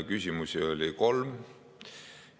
Küsimusi oli kolm.